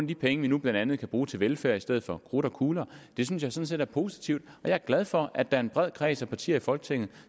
de penge vi nu blandt andet kan bruge til velfærd i stedet for på krudt og kugler det synes jeg sådan set er positivt og jeg er glad for at der er en bred kreds af partier i folketinget